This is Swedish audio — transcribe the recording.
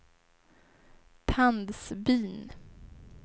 Tandsbyn